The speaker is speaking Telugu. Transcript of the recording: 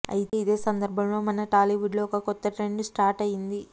అయితే ఇదే సందర్భంలో మన టాలీవుడ్ లో ఒక కొత్త ట్రెండ్ స్టార్ట్ అయ్యింది